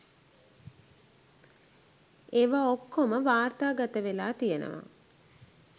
ඒවා ඔක්කොම වාර්තාගත වෙලා තියෙනවා